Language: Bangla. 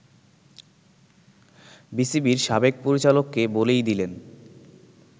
বিসিবির সাবেক পরিচালককে বলেই দিলেন